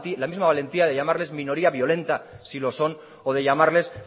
la misma valentía de llamarles minoría violenta si lo son o de llamarles